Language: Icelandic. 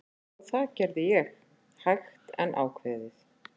Og það gerði ég, hægt en ákveðið.